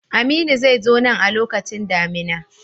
Aminu zai zo nan a lokacin damina.